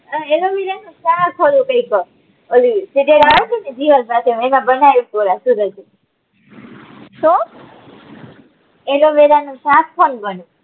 aloe vera નુ સાક ઓલું કૈક ઓલી સીરીયલ આવે છે ને જિયલ એમાં બનાયું છે ઓલા સુરજ એ સુ એલોવેરા નુ સાક પણ બને